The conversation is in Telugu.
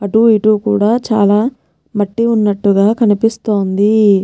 అటు ఇటు కూడా చాలా మట్టి వున్నటుగా కనిపిస్తోంది.